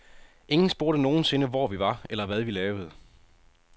Ingen spurgte nogensinde, hvor vi var, eller hvad vi lavede.